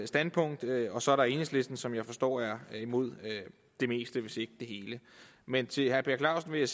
standpunkt og så er der enhedslisten som jeg forstår er imod det meste hvis ikke det hele men til herre per clausen vil